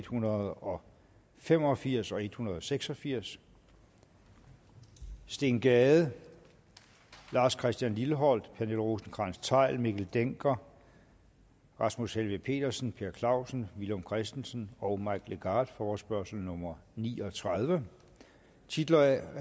hundrede og fem og firs og en hundrede og seks og firs steen gade lars christian lilleholt pernille rosenkrantz theil mikkel dencker rasmus helveg petersen per clausen villum christensen og mike legarth forespørgsel nummer ni og tredive titler